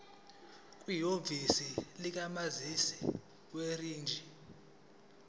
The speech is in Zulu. kwihhovisi likamininjela werijini